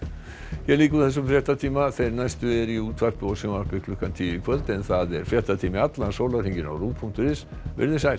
hér lýkur þessum fréttatíma þeir næstu eru í útvarpi og sjónvarpi klukkan tíu í kvöld en það er fréttatími allan sólarhringinn á punktur is veriði sæl